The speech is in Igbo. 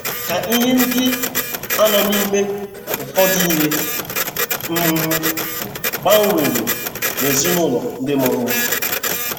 Ka ihe ndị a nọ na - eme, ụfọdụ ihe um gbanwere n’ezinụlọ ndị mụrụ m.